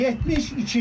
72.